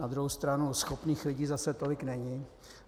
Na druhou stranu schopných lidí zase tolik není.